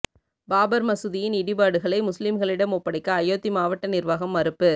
பாபர் மசூதியின் இடிபாடுகளை முஸ்லிம்களிடம் ஒப்படைக்க அயோத்தி மாவட்ட நிர்வாகம் மறுப்பு